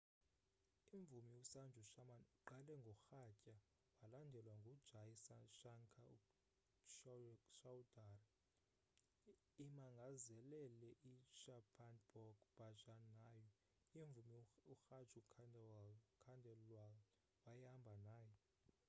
imvumi usanju sharma uqale ngorhatya walandelwa ngujai shankar choudhary imangazelele i-chhappan bhog bhajan nayo imvumi uraju khandelwal wayehamba naye